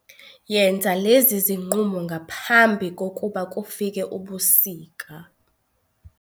Yenza lezi zinqumo ngaphambi kokuba kufike ubusika